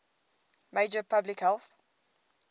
major public health